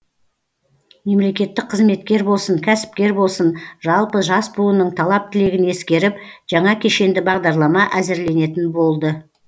мемлекеттік қызметкер болсын кәсіпкер болсын жалпы жас буынның талап тілегін ескеріп жаңа кешенді бағдарлама әзірленетін болды